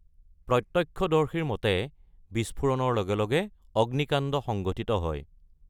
প্ৰত্যক্ষদৰ্শীৰ মতে, বিস্ফোৰণৰ লগে লগে অগ্নিকাণ্ড সংঘটিত হয়।